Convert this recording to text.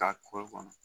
Ka kɔri kɔnɔ